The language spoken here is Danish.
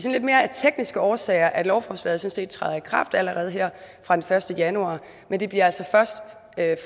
af lidt mere tekniske årsager at lovforslaget sådan set træder i kraft allerede her fra den første januar men det bliver altså først